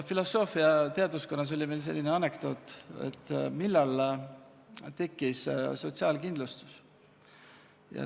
Filosoofiateaduskonnas räägiti meil sellist anekdooti, et millal tekkis sotsialakindlustus.